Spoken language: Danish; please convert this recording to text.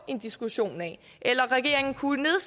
en diskussion af eller regeringen kunne